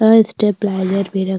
और step lawyer भी रख --